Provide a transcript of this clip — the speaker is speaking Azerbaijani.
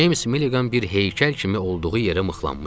James Milligan bir heykəl kimi olduğu yerə mıxlanmışdı.